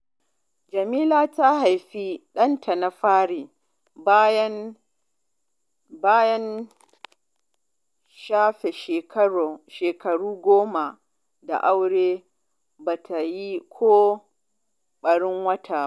Jamila ta haifi ɗanta na fari bayan shafe shekaru goma da aure ba ta yi ko ɓatan wata ba